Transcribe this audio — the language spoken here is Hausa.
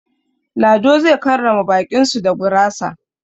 Lado zai karrama baƙin su da gurasa.